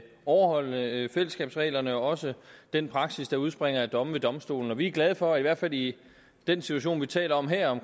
overholde fællesskabsreglerne også den praksis der udspringer af domme ved domstolen vi er glade for at regeringen i hvert fald i den situation vi taler om her